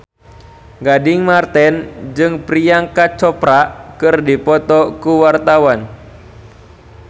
Gading Marten jeung Priyanka Chopra keur dipoto ku wartawan